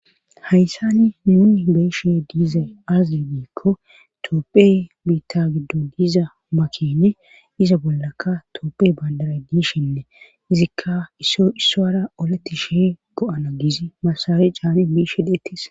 hayssani nuni beeshe diiza azili diikko toopphey biita giddo diiza makene iza bollakka toopphe bandara diishinne izikka isso issoara olatti she go7ana giz masare caane biishe dheettis